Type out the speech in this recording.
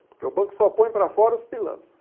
Porque o banco só põe para fora os pilantras.